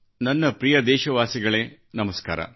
ನನ್ನ ಪ್ರಿಯ ದೇಶವಾಸಿಗಳೇ ನಮಸ್ಕಾರ